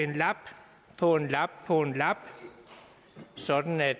få en lap på en lap sådan at